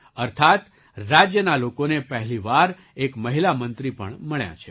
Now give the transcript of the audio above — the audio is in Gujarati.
અર્થાત્ રાજ્યના લોકોને પહેલી વાર એક મહિલા મંત્રી પણ મળ્યાં છે